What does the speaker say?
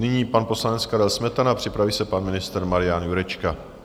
Nyní pan poslanec Karel Smetana, připraví se pan ministr Marian Jurečka.